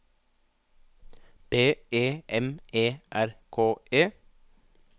B E M E R K E